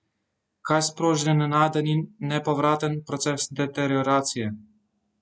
Kaj sproži nenaden in nepovraten proces deterioracije?